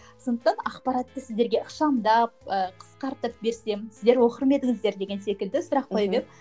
сондықтан ақпаратты сіздерге ықшамдап ыыы қысқартып берсем сіздер оқыр ма едіңіздер деген секілді сұрақ қойып едім